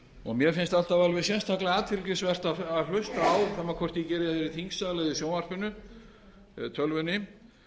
og mér finnst alltaf alveg sérstaklega athyglisvert að hlusta á sama hvort ég geri það í þingsal eða í sjónvarpinu tölvunni